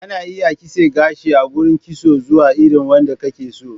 Ana iya kitse gashi a gurin kitso zuwa irin wanda kake so.